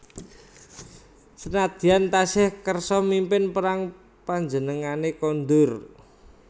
Sanadyan tasih kersa mimpin perang panjenengane kondur